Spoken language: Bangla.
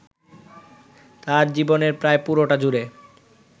তাঁর জীবনের প্রায় পুরোটা জুড়ে